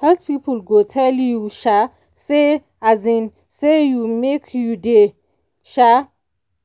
health people go tell you um say um say you make you dey um